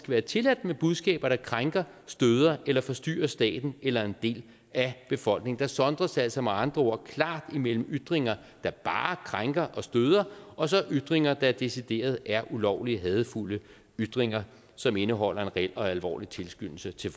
være tilladt med budskaber der krænker støder eller forstyrrer staten eller en del af befolkningen der sondres altså med andre ord klart mellem ytringer der bare krænker og støder og så ytringer der decideret er ulovlige hadefulde ytringer som indeholder en reel og alvorlig tilskyndelse til